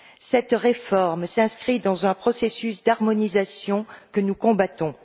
Cette réforme s'inscrit dans un processus d'harmonisation que nous combattons.